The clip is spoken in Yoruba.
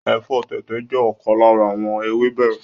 Ẹ̀fọ́ tẹ̀tẹ̀ jẹ́ ọ̀kan lára àwọn ewébẹ̀